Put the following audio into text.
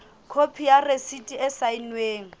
khopi ya rasiti e saennweng